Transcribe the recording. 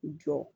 Jɔ